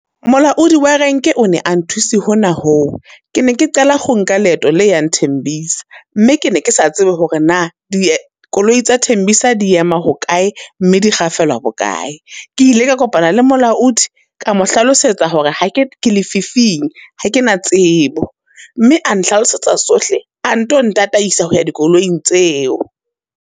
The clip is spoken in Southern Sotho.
Molaodi wa renke o ne a nthuse hona ho. Ke ne ke qala ho nka leeto la yang Tembisa, mme ke ne ke sa tsebe hore na dikoloi tsa Tembisa di ema hokae, mme di kgafelwa bokae? Ke ile ka kopana le molaodi, ka mo hlalosetsa hore ha ke ke lefifing, ha ke na tsebo. Mme a nhlalosetsa tsohle, a nto ntataisa ho ya dikoloing tseo.